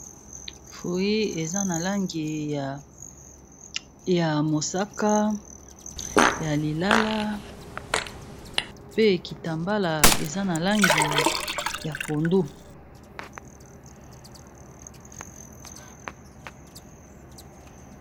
fruit za na langi ya mosaka ya lilala pe ekitambala eza na langi ya pondu